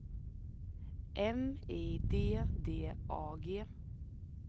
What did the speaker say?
M I D D A G